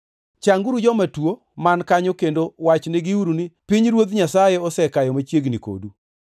Changuru joma tuo man kanyo kendo wachnegiuru ni, ‘Pinyruoth Nyasaye osekayo machiegni kodu.’